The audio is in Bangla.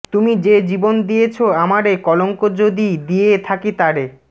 তুমি যে জীবন দিয়েছ আমারে কলঙ্ক যদি দিয়ে থাকি তারে